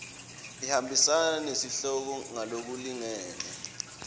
ihambisana nesihloko ngalokulingene